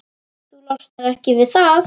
Þú losnar ekki við það.